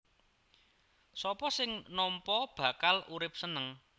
Sapa sing nampa bakal urip seneng